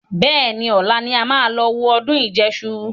Bẹ́ẹ̀ni, ọ̀la ni a máa lọ wo ọdún ìjẹṣu